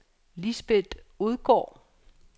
Lisbeth Odgaard